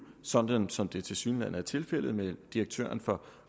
sådan som det tilsyneladende er tilfældet med direktøren for